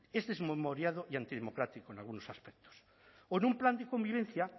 es desmemoriado y antidemocrático en algunos aspectos o en un plan de convivencia